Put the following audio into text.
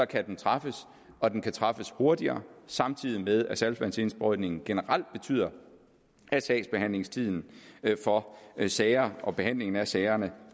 kan den træffes og den kan træffes hurtigere samtidig med at saltvandsindsprøjtningen generelt betyder at sagsbehandlingstiden for sager og behandlingen af sagerne